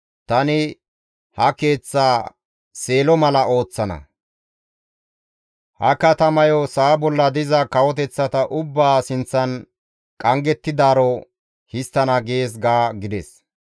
tani ha Keeththaa Seelo mala ooththana; ha katamayokka sa7a bolla diza kawoteththa ubbaa sinththan qanggettidaaro histtana› gees ga» gides.